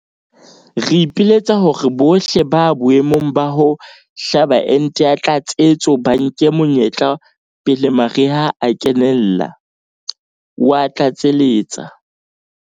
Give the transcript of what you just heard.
Re ipiletsa hore bohle ba boemong ba ho hlaba ente ya tlatsetso ba nke monyetla pele mariha a kenella," o a tlatseletsa.